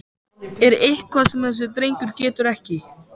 Er eitthvað sem þessi drengur getur ekki?!